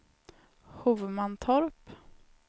Hovmantorp